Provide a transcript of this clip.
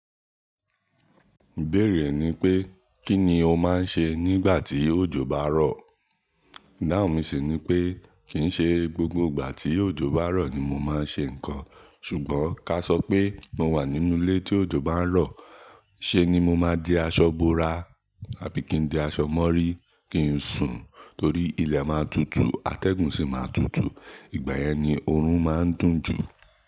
Ìbéèrè ní pé kí ni o máa ń ṣe nígbà tí òjò bá rọ̀? Ìdáhùn mi sì ni pé kì í ṣe gbogbo ìgbà tí òjò bá rọ̀ ni mo máa ń ṣe nǹkan, ṣùgbọ́n kásọ pé mo wà nínú ilé tí òjò bá ń rọ̀, ṣé ni mo máa di aṣọ bora àbí kí n di aṣọ mọ́rí, kí n sùn, torí ilẹ̀ máa tutù, atẹ́gùn sì máa tutù, ìgbàyẹn ni oorun máa ń dùn jù.